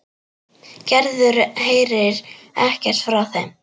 Gerður heyrir ekkert frá þeim.